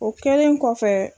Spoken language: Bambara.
O kɛlen kɔfɛ